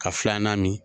Ka filanan min